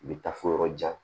I bɛ taa fo yɔrɔ jan